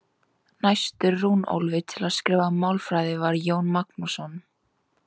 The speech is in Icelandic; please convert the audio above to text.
Næstur Runólfi til að skrifa málfræði var Jón Magnússon.